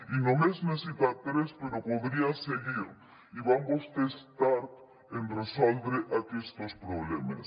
i només n’he citat tres però podria seguir i van vostès tard en resoldre aquestos problemes